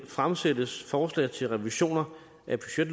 fremsættes forslag til revisioner